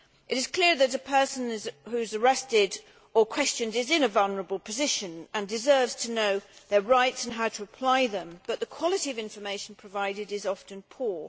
It is clear that a person who is arrested or questioned is in a vulnerable position and deserves to know their rights and how to apply them, but the quality of information provided is often poor.